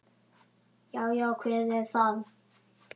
Já. já, hver er þar?